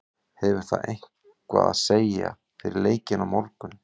Hefur það eitthvað að segja fyrir leikinn á morgun?